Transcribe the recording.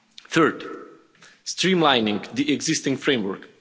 Third streamlining the existing framework.